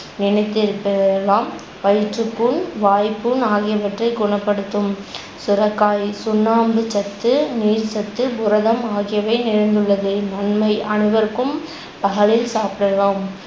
வயிற்றுப்புண், வாய்ப்புண் ஆகியவற்றை குணப்படுத்தும். சுரக்காய் சுண்ணாம்புச்சத்து, நீர்ச்சத்து, புரதம் ஆகியவை நிறைந்துள்ளது. நன்மை அனைவருக்கும் பகலில் சாப்பிடலாம்